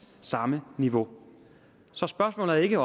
samme niveau så spørgsmålet er ikke